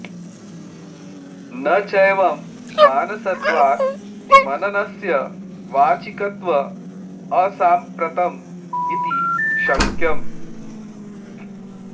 न चैवं मानसत्वात् मननस्य वाचिकत्व असाम्प्रतं इति शङ्क्यम्